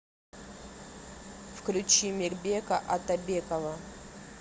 включи мирбека атабекова